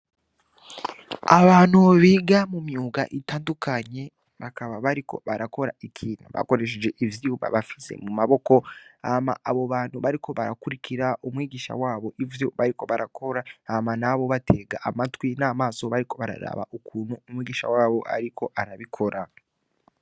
Abantu biga mu myuga itandukanye bakaba bariko barakora ikintu bakoresheje ivyuma bafise mu maboko hama abo bantu bariko barakurikira umwigisha wabo ivyo bariko barakora hama nabo batega amatwi n'amaso bariko bararaba ukuntu umwigisha wabo ariko arabikora.